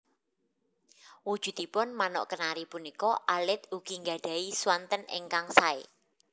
Wujudipun Manuk Kenari punika alit ugi nggadhahi swanten ingkang saé